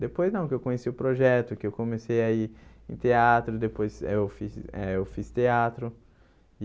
Depois, não, que eu conheci o projeto, que eu comecei a ir em teatro, depois aí eu fiz eh eu fiz teatro.